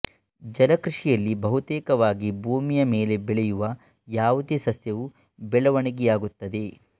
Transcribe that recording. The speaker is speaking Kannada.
ಜಲಕೃಷಿಯಲ್ಲಿ ಬಹುತೇಕವಾಗಿ ಭೂಮಿಯ ಮೇಲೆ ಬೆಳೆಯುವ ಯಾವುದೇ ಸಸ್ಯವು ಬೆಳವಣಿಗೆಯಾಗುತ್ತದೆ